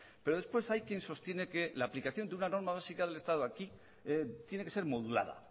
pero después hay quien sostiene que la aplicación de una norma básica del estado aquí tiene que ser modulada